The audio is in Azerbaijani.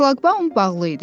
Şlaqbaum bağlı idi.